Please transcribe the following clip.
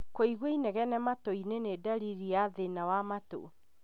Kũigua inegene matũ-inĩ nĩ ndariri ya thĩna wa matũ